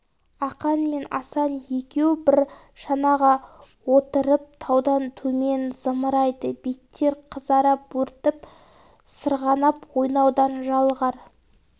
ақан мен асан екеу бр шанаға отырып таудан төмен зымырайды беттер қызара бөртп сырғанап ойнаудан жалығар